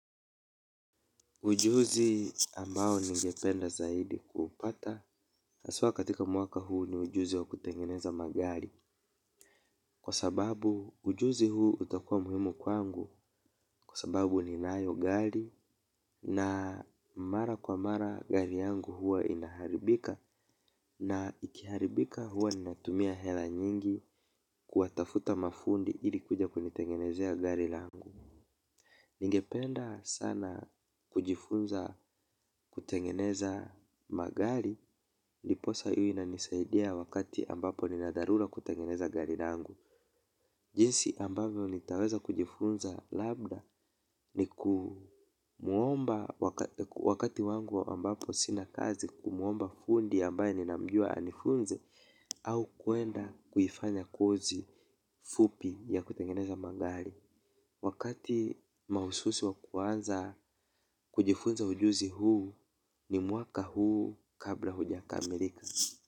Ujuzi ambao ningependa zaidi kupata, haswa katika mwaka huu ni ujuzi wa kutengeneza magari. Kwa sababu ujuzi huu utakua muhimu kwangu, kwa sababu ninayo gari na mara kwa mara gari yangu huwa inaharibika. Na ikiharibika huwa ninatumia hela nyingi kuwatafuta mafundi ili kuja kunitengenezea gari langu. Ningependa sana kujifunza kutengeneza magari ndiposa iwe inanisaidia wakati ambapo nina dharura kutengeneza gari langu. Jinsi ambavyo nitaweza kujifunza labda ni kumuomba wakati wangu ambapo sina kazi kumuomba fundi ambaye ninamjua anifunze. Au kuenda kuifanya kozi fupi ya kutengeneza magari. Wakati mahususi wa kuanza kujifunza ujuzi huu ni mwaka huu kabla hujakamilika.